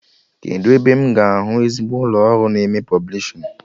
Kedụ ebe m ga-ahụ ezigbo ụlọ ọrụ na-eme pọblishin?